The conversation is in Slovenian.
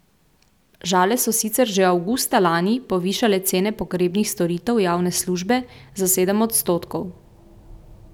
Žale so sicer že avgusta lani povišale cene pogrebnih storitev javne službe za sedem odstotkov.